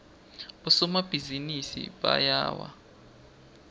bosomabhizinisi bayawa